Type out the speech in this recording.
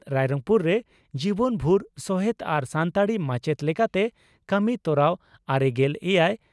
ᱨᱟᱭᱨᱚᱝᱯᱩᱨ ᱨᱮ ᱡᱤᱵᱚᱱ ᱵᱷᱩᱨ ᱥᱚᱦᱮᱛ ᱟᱨ ᱥᱟᱱᱛᱟᱲᱤ ᱢᱟᱪᱮᱛ ᱞᱮᱠᱟᱛᱮ ᱠᱟᱹᱢᱤ ᱛᱚᱨᱟᱣ ᱼᱟᱨᱮᱜᱮᱞ ᱮᱭᱟᱭ) ᱾